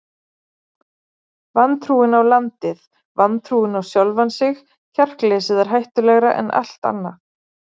Vantrúin á landið, vantrúin á sjálfan sig, kjarkleysið er hættulegra en allt annað.